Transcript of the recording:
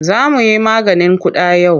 Za mu yi maganin ƙuda yau.